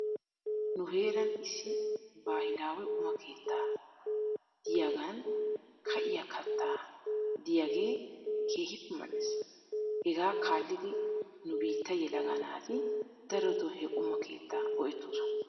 Nu heeran issi baahilaawe quma keeta diyaagan ka"iyaa katta diyaagee keehippe mal"es. Hegaa kaallidi nu biittaa yelaga naati daroto he quma keetaa go'etoosona.